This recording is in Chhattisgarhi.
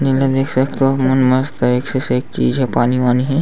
ये मेर देख सकथव तुमन मस्त एक से सेक चीज़े हे पानी वानी हे।